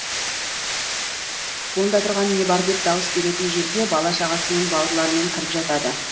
онда тұрған не бар деп дауыс беретін жерге бала шағасымен бауырларымен кіріп жатады